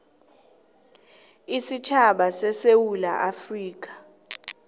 isitjhaba sesewula afrika